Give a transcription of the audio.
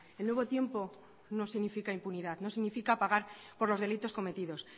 el nuevo tiempo no significa impunidad no significa pagar por los delitos cometidos